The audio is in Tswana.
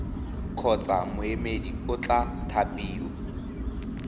kgotsa moemedi o tla thapiwa